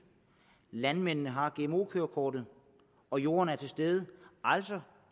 landmændene har gmo kørekort og jorden er til stede altså